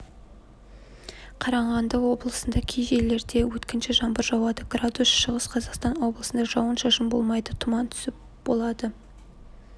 қарағанды облысында кей жерлерде өткінші жаңбыр жауады градус шығыс қазақстан облысында жауын-шашын болмайды тұман түсіп болады